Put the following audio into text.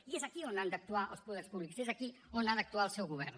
i és aquí on han d’actuar els poders públics és aquí on ha d’actuar el seu govern